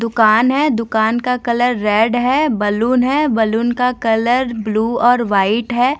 दुकान है दुकान का कलर रेड है बैलून है बैलून का कलर ब्लू और वाइट है।